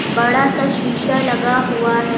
बड़ा सा शीशा लगा हुआ है।